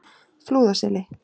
Flúðaseli